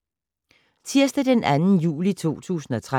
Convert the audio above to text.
Tirsdag d. 2. juli 2013